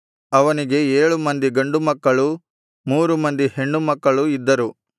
ಅವನಿಗೆ ಏಳು ಮಂದಿ ಗಂಡುಮಕ್ಕಳೂ ಮೂರು ಮಂದಿ ಹೆಣ್ಣುಮಕ್ಕಳೂ ಇದ್ದರು